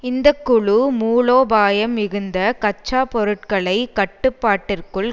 இந்த குழு மூலோபாயம் மிகுந்த கச்சா பொருட்களை கட்டுப்பாட்டிற்குள்